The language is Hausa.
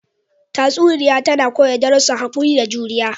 Tatsuniya tana koya darussan haƙuri da juriya.